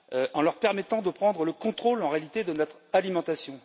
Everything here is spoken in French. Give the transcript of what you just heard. en leur permettant de prendre le contrôle, en réalité, de notre alimentation.